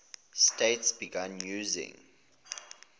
states began using